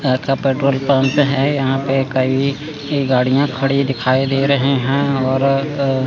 यहां का petrol pump है यहां पे कई गाड़ियां खड़ी दिखाई दे रहे हैं और अ--